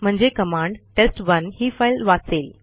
म्हणजे command test one ही file वाचेल